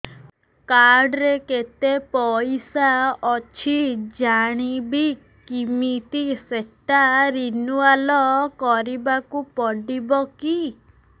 card ରେ କେତେ ପଇସା ଅଛି ଜାଣିବି କିମିତି ସେଟା ରିନୁଆଲ କରିବାକୁ ପଡ଼ିବ କି